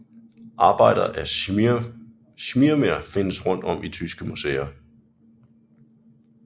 Arbejder af Schirmer findes rundt om i tyske museer